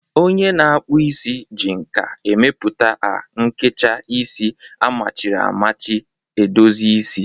Onye na-akpụ isi ji nka emepụta a nkecha isi amachiri amachi edozi isi.